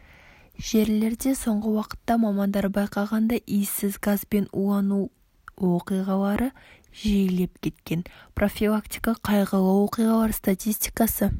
жерлерде соңғы уақытта мамандар байқағандай иіссіз газбен улану оқиғалары жиілеп кеткен профилактика қайғылы оқиғалар статистикасы